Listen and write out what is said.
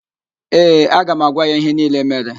Ee, aga m agwa ya ihe niile mere